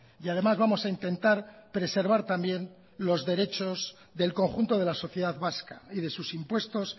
y además vamos a intentar preservar también los derechos del conjunto de la sociedad vasca y de sus impuestos